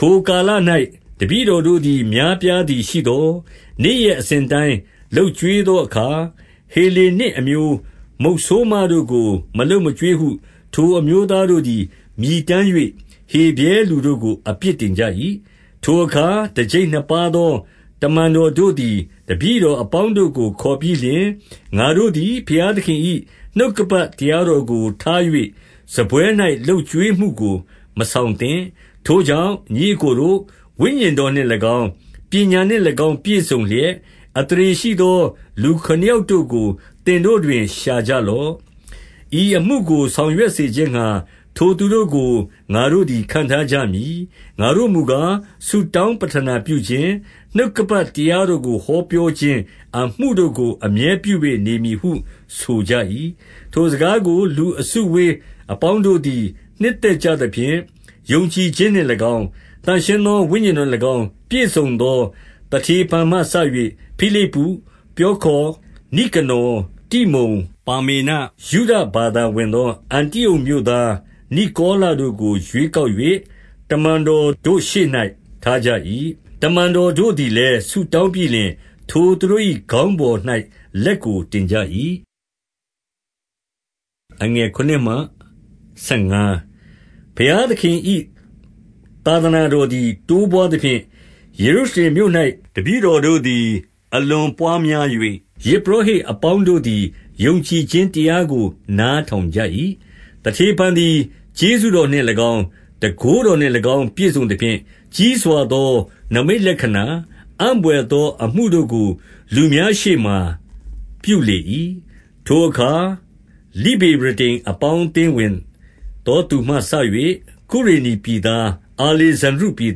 ထိုကာလ၌ တပည့်တော်တို့သည် များပြားသည် ရှိသော်၊ နေ့ရက် အစဉ်အတိုင်း လုပ်ကျွေးသောအခါ၊ ဟေလေနစ်အမျိုး မုတ်ဆိုး မတို့ကို မလုပ်မကျွေးဟု ထိုအမျိုးသားတို့သည် မြည်တမ်း၍ ဟေဗြဲ လူတို့ကို အပြစ်တင်ကြ၏။ 2 ထိုအခါတကျိပ်နှစ်ပါးသော တမန်တော်တို့သည် တပည့်တော် အပေါင်းတို့ကို ခေါ်ပြီးလျှင်၊ ငါတို့သည် ဘုရားသခင်၏ နှုတ်ကပတ် တရားတော်ကိုထား၍ စားပွဲ၌လုပ်ကျွေးမှုကိုမှုကိုမဆောင်သင့်။ 3 ထိုကြောင့်ညီအစ်ကိုတို့၊ ဝိညာဉ်တော်နှင့်၎င်း၊ ပညာနှင့်၎င်းပြည့် စုံလျက်၊ အသရေရှိသော လူခုနစ်ယောက်တို့ကို သင်တို့တွင် ရှာကြလော့။ ဤအမှု ကို ဆောင်ရွက်စေခြင်းငှါ ထိုသူတို့ကို ငါတို့သည် ခန့်ထား ကြမည်။ 4 ငါတို့မူကား၊ ဆုတောင်းပဌနာပြခြင်း၊ နှုတ်က ပတ်တရားတော် ကို ဟောပြောခြင်းအမှုတို့ကို အမြဲပြု၍ နေမည်ဟုဆိုကြ၏။ 5 ထိုစကားကိုလူအစုအဝေးအပေါင်းတို့သည် နှစ်သက်ကြသဖြင့်၊ ယုံကြည်ခြင်းနှင့်၎င်း၊ သန့်ရှင်းသော ဝိညာဉ်တော်နှင့်၎င်း ပြည့်စုံသော သတေဖန်မှစ၍ ဖိလိပ္ပု၊ ပြောခေါ်၊ နိကနော်၊ တိမုန်၊ ပါမေန၊ ယုဒဘာ သာဝင်သော အန္တိအုတ်မြို့သား နိကောလတို့ကို ရွေး ကောက်၍၊ 6 တမန်တော်တို့ရှေ့၌ ထားကြ၏။ တမန်တော်တို့ သည်လည်း ဆုတောင်းပြီးလျှင် ထိုသူတို့၏ ခေါင်းပေါ်၌ လက်ကို တင်ကြ၏။ 7 ဘုရားသခင်၏ သာသနာတော်သည် တိုးပွားသ ဖြင့် ယေရုရှလင်မြို့၌ တပည့်တော်တို့သည် အလွန်ပွါး များ၍၊ ယဇ်ပုရောဟိတ် အပေါင်းတို့သည် ယုံကြည်ခြင်း တရားကို နားထောင်ကြ၏။ 8 သတေဖန်သည် ကျေးဇူးတော်နှင့်၎င်း၊ တန်ခိုး တော်နှင့်၎င်း ပြည့်စုံသဖြင့်၊ ကြီးစွာသောနိမိတ်လက္ခဏာ၊ အံ့ဘွယ်သောအမှုတို့ကို လူများရှေ့မှာပြုလေ၏။ 9 ထိုအခါ လိဗေရတိန် အပေါင်းအသင်းဝင်သော သူမှစ၍၊ ကုရေနေပြည်သား၊ အာလေဇန္ဒြိပြည်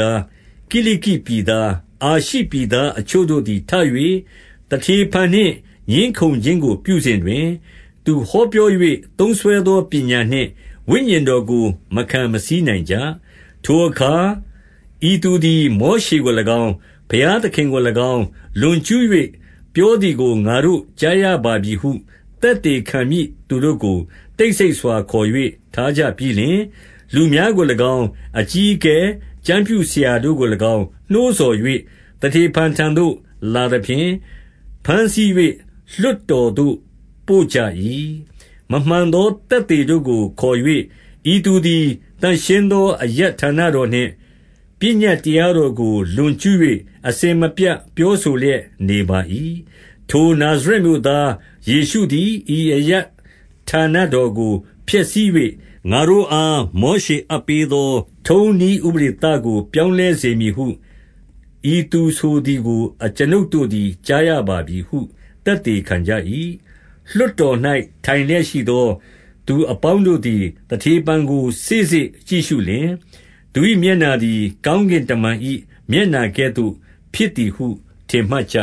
သား၊ ကိလိကိပြည်သား၊ အာရှိ ပြည်သား အချို့တို့သည် ထ၍ သတေဖန်နှင့်ငြင်းခုံခြင်းကို ပြုစဉ်တွင်၊ 10 သူဟောပြော၍သုံးစွဲသောပညာနှင့် ဝိညာဉ်တော် ကို မခံမဆီးနိုင် ကြ။ 11 ထိုအခါဤသူသည် မောရှေကို၎င်း၊ ဘုရား သခင်ကို၎င်း လွန်ကျူး၍ ပြောသည်ကို ငါတို့ကြားရပါ ပြီဟု သက်သေခံမည့်သူတို့ကို တိတ်ဆိတ်စွာခေါ်၍ ထားကြပြီးလျှင်၊ 12 လူများကို၎င်း၊ အကြီးအကဲ၊ ကျမ်းပြုဆရာ တို့ကို၎င်း နှိုးဆော်၍၊ သတေဖန်ထံသို့လာသဖြင့် ဘမ်းဆီး၍ လွှတ်တော်သို့ပို့ကြ၏။ 13 မမှန်သော သက်သေခံတို့ကိုခေါ်၍၊ ဤသူသည် သန့်ရှင်းသော အရပ်ဌာနတော်နှင့် ပညတ်တရားတော်ကို လွန်ကျူး၍ အစဉ်မပြတ် ပြောဆိုလျက်နေပါ၏။ 14 ထိုနာဇရက်မြို့သား ယေရှုသည် ဤအရပ်ဌာန တော်ကို ဖျက်ဆီး၍၊ ငါတို့အား မောရှေအပ်ပေးသော ထုံးနည်းဥပဒေကို ပြောင်းလဲစေမည်ဟု ဤသူဆိုသည်ကို အကျွန်ုပ်တို့သည် ကြားရပါပြီဟု သက်သေခံကြ၏။ 15 လွှတ်တော်၌ ထိုင်လျက်ရှိသောသူ အပေါင်း တို့သည် သတေဖန် ကိုစေ့စေ့ကြည့်ရှုလျှင်၊ သူ၏မျက်နှာ သည် ကောင်းကင်တမန်၏မျက်နှာ ကဲ့သို့ဖြစ်သည်ဟု ထင်မှတ်ကြ